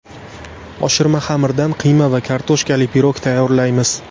Oshirma xamirdan qiyma va kartoshkali pirog tayyorlaymiz.